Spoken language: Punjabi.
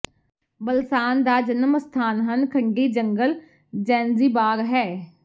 ਬਲਸਾਨ ਦਾ ਜਨਮ ਅਸਥਾਨ ਹਨ ਖੰਡੀ ਜੰਗਲ ਜ਼ੈਨ੍ਜ਼ਿਬਾਰ ਹੈ